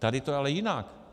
Tady je to ale jinak.